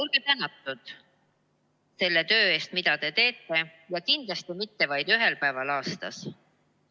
Olge tänatud selle töö eest, mida te teete, ja kindlasti mitte vaid ühel päeval aastas!